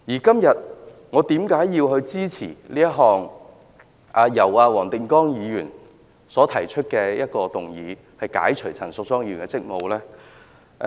今天，我為何支持黃定光議員提出的議案，解除陳淑莊議員的立法會議員職務呢？